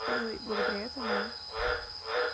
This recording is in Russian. ээ благодаря этому